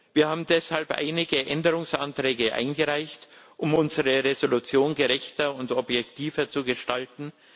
Wir haben deshalb einige Änderungsanträge eingereicht, um unsere Entschließung gerechter und objektiver zu gestalten.